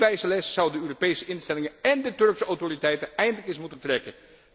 Die wijze les zouden de Europese instellingen én de Turkse autoriteiten eindelijk eens moeten trekken.